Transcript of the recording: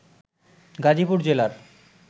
গাজীপুর জেলার